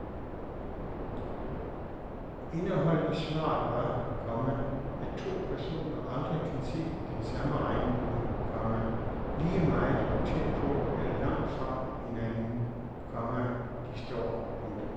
Indeholdt i svaret var, komma at to personer aldrig kan se den samme regnbue, komma lige meget hvor tæt på eller langt fra hinanden, komma de står. punktum